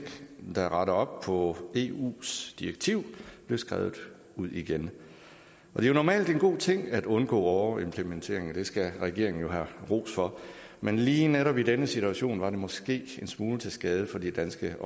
der retter op på eus direktiv blev skrevet ud igen det er normalt en god ting at undgå overimplementering og det skal regeringen jo have ros for men lige netop i den her situation var det måske en smule til skade for de danske